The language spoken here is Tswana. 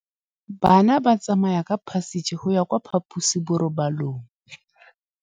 Bana ba tsamaya ka phašitshe go ya kwa phaposiborobalong.